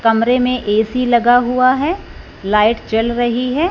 कमरे में ए_सी लगा हुआ है लाइट चल रही है।